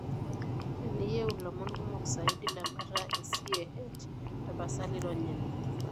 Teniyeu ilomon kumok saidi lembata e CAH ,tapasali ronya ene.